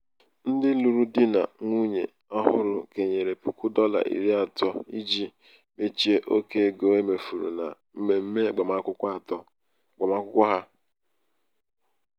um ndị lụrụ di na nwunye ọhụrụ kenyere puku dọla iri atọ iji mechie oke um ego e mefuru na mmemme agbamakwụkwọ ha. um